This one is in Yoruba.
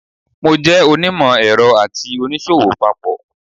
I'm both an engineer and a trader.